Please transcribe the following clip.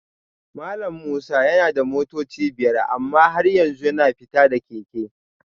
Malam Musa yana da motoci biyar amma har yanzu yana fita da keke